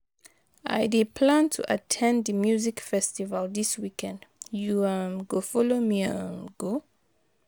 I dey plan to at ten d di music festival dis weekend, you um go follow me um go?